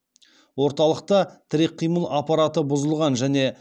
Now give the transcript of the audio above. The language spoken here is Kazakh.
орталықта тірек қимыл аппараты бұзылған және